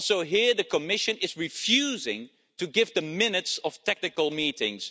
Also here, the Commission is refusing to give the minutes of technical meetings.